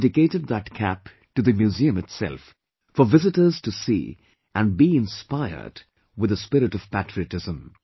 I dedicated that cap to the museum itself, for visitors to see and be inspired with the spirit of patriotism